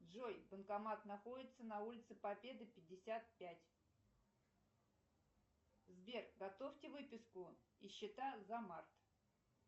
джой банкомат находится на улице победы пятьдесят пять сбер готовьте выписку и счета за март